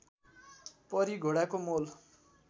परी घोडाको मोल